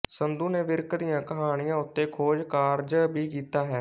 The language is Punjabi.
ਸੰਧੂ ਨੇ ਵਿਰਕ ਦੀਆ ਕਹਾਣੀਆਂ ਉੱਤੇ ਖੋਜਕਾਰਜ ਵੀ ਕੀਤਾ ਹੈ